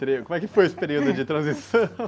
Tre... Como é que foi esse período de transição?